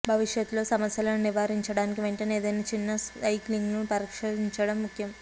భవిష్యత్తులో సమస్యలను నివారించడానికి వెంటనే ఏదైనా చిన్న సైక్లింగ్ను పరిష్కరించడం ముఖ్యం